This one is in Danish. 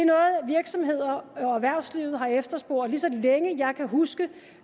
virksomheder og erhvervsliv har efterspurgt lige så længe jeg kan huske